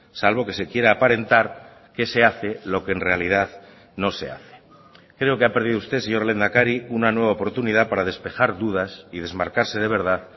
salvo que se quiera aparentar que se hace lo que en realidad no se hace creo que ha perdido usted señor lehendakari una nueva oportunidad para despejar dudas y desmarcarse de verdad